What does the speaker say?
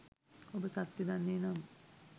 ඔබ සත්‍යය දන්නේ නම්